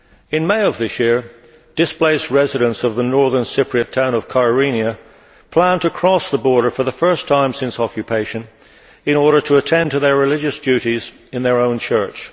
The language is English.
In May of this year, displaced residents of the Northern Cypriot town of Kyrenia plan to cross the border for the first time since occupation in order to attend to their religious duties in their own church.